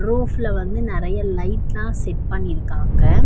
ரூப்ல வந்து நறைய லைட்லாம் செட் பண்ணிருக்காங்க.